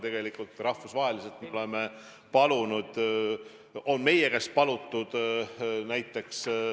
Meie oleme rahvusvaheliselt palunud maske.